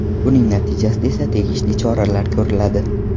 Buning natijasida esa tegishli choralar ko‘riladi.